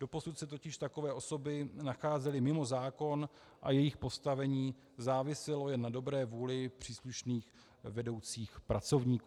Doposud se totiž takové osoby nacházely mimo zákon a jejich postavení záviselo jen na dobré vůli příslušných vedoucích pracovníků.